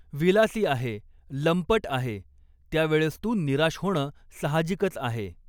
विलासी आहे, लंपट आहे, त्यावेळेस तू निराश होणं साहजिकच आहे.